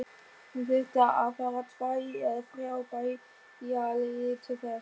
Hann þurfti að fara tvær eða þrjá bæjarleiðir til þess.